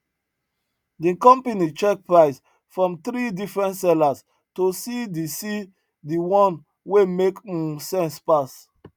the company check price from three different sellers to see the see the one wey make um sense pass